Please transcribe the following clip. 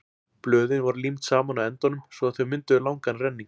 Blöðin voru límd saman á endunum svo að þau mynduðu langan renning.